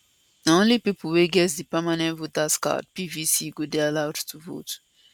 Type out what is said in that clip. na only pipo wey get di permanent voters card pvc go dey allowed to vote